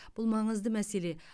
бұл маңызды мәселе